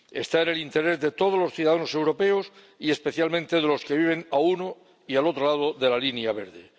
Redunda en interés de todos los ciudadanos europeos y especialmente de los que viven a uno y a otro lado de la línea verde.